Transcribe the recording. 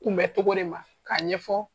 Kunbɛcogo de ma k'a ɲɛfɔ